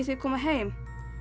koma heim